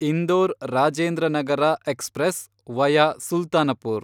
Indore Rajendranagar express (via Sultanpur)